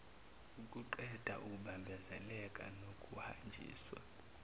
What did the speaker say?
ukuqeda ukubambezeleka kokuhanjiswa